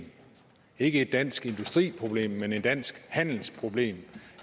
ikke et dansk industriproblem men et dansk handelsproblem